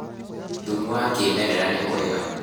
thumu wa kĩmerera nĩ mwega